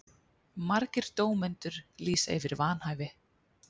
Margir dómendur lýsa yfir vanhæfi